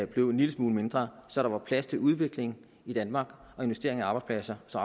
blev en lille smule mindre så der var plads til udvikling i danmark og investering i arbejdspladser så